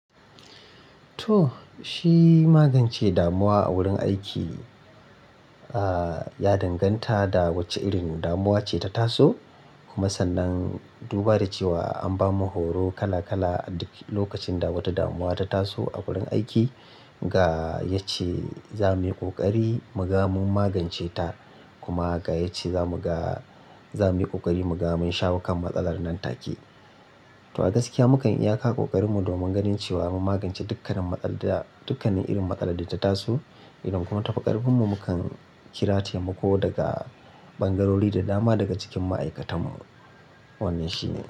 To, shi magance damuwa a wurin aiki, ah ya danganta da wacce irin damuwa ce ta taso. Kuma sannan duba da cewa an bamu horo kala kala aduk lokacin da wata damuwa ta taso a wurin aiki. Ga yace za muyi ƙoƙari mu gama mun magance ta, kuma ga yace za mu ga, za muyi ƙoƙari mu gama mun shawo kan matsalar nan take. To a gaskiya mu kan iya kawo ƙoƙarinmu domin ganin cewa mun magance dukkanin matsalar da, dukkanin irin matsalar da ta taso. Idan kuma tafi karfin mu, mu kan kira taimako daga ɓangarori da dama daga cikin ma'aikatanmu. Wannan shine.